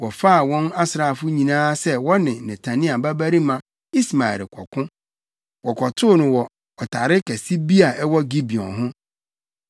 wɔfaa wɔn asraafo nyinaa sɛ wɔne Netania babarima Ismael rekɔko. Wɔkɔtoo no wɔ ɔtare kɛse bi a ɛwɔ Gibeon ho.